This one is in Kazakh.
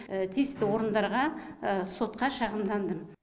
тиісті орындарға сотқа шағымдандым